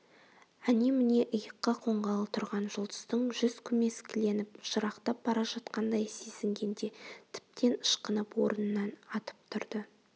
әне-міне иыққа қонғалы тұрған жұлдыздың жүз көмескіленіп жырақтап бара жатқандай сезінгенде тіптен ышқынып орнынан атып тұрды